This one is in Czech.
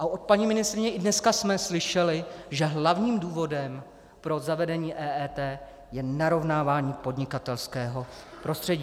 A od paní ministryně i dneska jsme slyšeli, že hlavním důvodem pro zavedení EET je narovnávání podnikatelského prostředí.